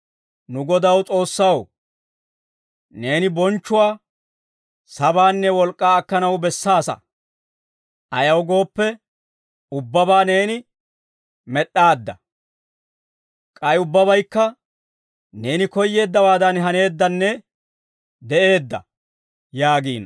«Nu Godaw S'oossaw, neeni bonchchuwaa, sabaanne wolk'k'aa akkanaw bessaasa. Ayaw gooppe, ubbabaa neeni med'd'aadda; k'ay ubbabaykka, neeni koyyeeddawaadan haneeddanne de'eedda» yaagiino.